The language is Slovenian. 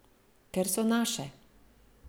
Ker so naše.